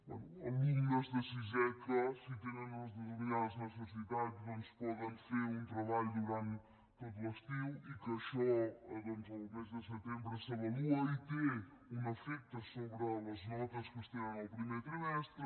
bé alumnes de sisè que si tenen unes determinades necessitats doncs poden fer un treball durant tot l’estiu i que això el mes de setembre s’avalua i té un efecte sobre les notes que es tenen al primer trimestre